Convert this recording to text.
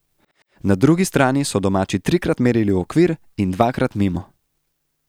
Na drugi strani so domači trikrat merili v okvir in dvakrat mimo.